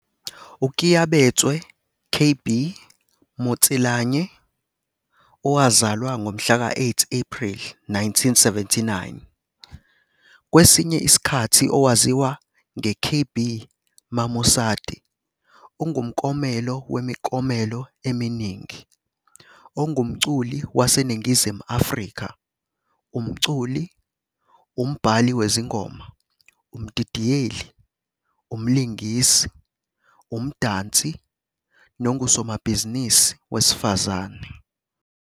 UKeabetswe 'KB' Motsilanyane, owazalwa ngomhla ka-8 Ephreli 1979, kwesinye isikhathi owaziwa nge- KB Mamosadi, ungumklomelo wemiklomelo eminingi ongumculi waseNingizimu Afrika, umculi, umbhali wezingoma, umdidiyeli, umlingisi, umdansi nongusomabhizinisi wesifazane.